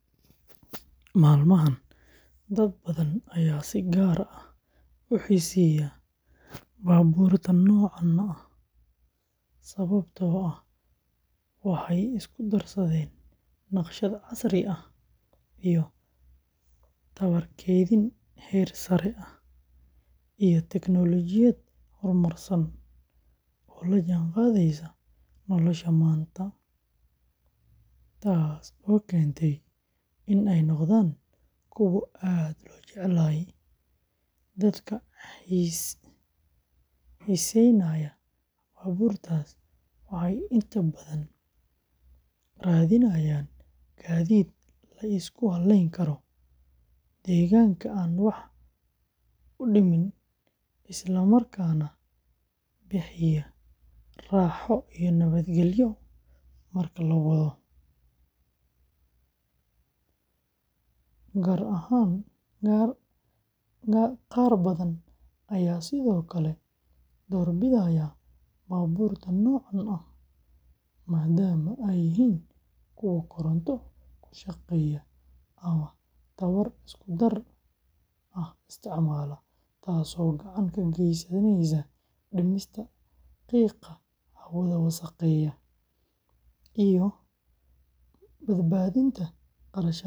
Maalmahan, dad badan ayaa si gaar ah u xiiseeya baabuurta noocaan ah sababtoo ah waxay isku darsadeen naqshad casri ah, tamar kaydin heer sare ah, iyo tiknoolajiyad horumarsan oo la jaanqaadaysa nolosha maanta, taasoo keentay in ay noqdaan kuwo aad loo jecel yahay. Dadka xiiseynaya baabuurtaas waxay inta badan raadinayaan gaadiid la isku halleyn karo, deegaanka aan wax u dhimin, isla markaana bixiya raaxo iyo nabadgelyo marka la wado. Qaar badan ayaa sidoo kale doorbidaya baabuurta noocaan ah maadaama ay yihiin kuwo koronto ku shaqeeya ama tamar isku-dar ah isticmaala, taasoo gacan ka geysanaysa dhimista qiiqa hawada wasakheeya iyo badbaadinta kharashka shidaalka.